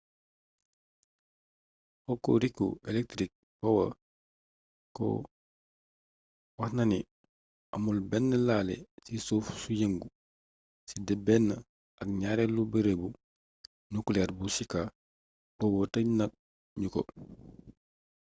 hokuriku electric power co waxnani amul bénn laalé ci suuf su yeengu si té bénn ak gnaarélu beereebu nuclear bu shika power teej na gnuko